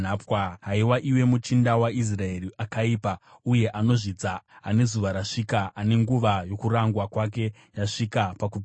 “ ‘Haiwa, iwe muchinda waIsraeri akaipa uye anozvidza, ane zuva rasvika, ane nguva yokurangwa kwake yasvika pakupedzisira,